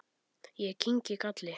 Ég kyngi galli.